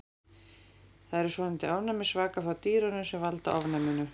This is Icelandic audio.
Það eru svonefndir ofnæmisvakar frá dýrunum sem valda ofnæminu.